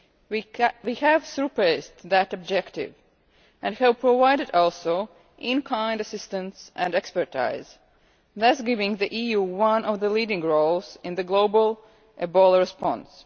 We have surpassed that objective, and have provided also in-kind assistance and expertise, thus giving the EU one of the leading roles in the global Ebola response.